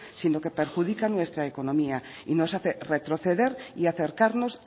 sino que perjudica nuestra economía y nos hace retroceder y acercarnos